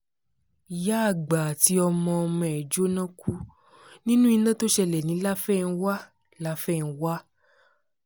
ìyá àgbà àti ọmọ-ọmọ ẹ̀ jóná kú nínú iná tó ṣẹlẹ̀ ní láfẹnwá láfẹnwá